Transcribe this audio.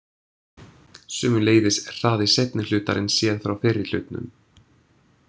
Sömuleiðis er hraði seinni hlutarins séð frá fyrri hlutnum.